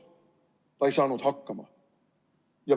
Ta ei saanud hakkama.